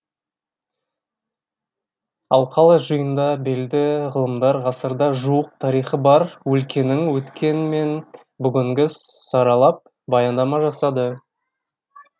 алқалы жиында белді ғылымдар ғасырға жуық тарихы бар өлкенің өткені мен бүгінгі саралап баяндама жасады